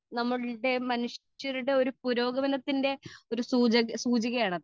speaker 2 നമ്മൾ മനുഷ്യരുടെ പുരോഗമനത്തിന്റെ സൂചികയാണ് അത്